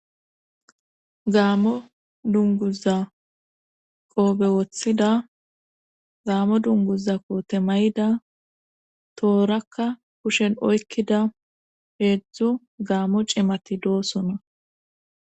Gaamo dunguza qoobe wothida gaamo dunguza koote may'ida toorakka kushen oykkida heedzdzu gaamo cimati doosona.